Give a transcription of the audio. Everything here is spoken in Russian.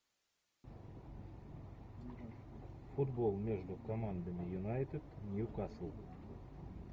футбол между командами юнайтед ньюкасл